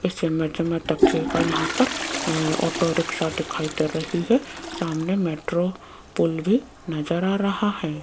इस इमेज में देखियेगा यहां पर ये ऑटो रिक्शा दिखाई दे रही है सामने मेट्रो पुल भी नज़र आ रहा है।